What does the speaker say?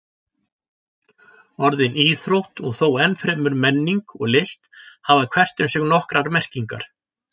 Orðin íþrótt og þó enn fremur menning og list hafa hvert um sig nokkrar merkingar.